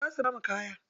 Za su bamu kaya.